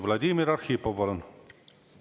Vladimir Arhipov, palun!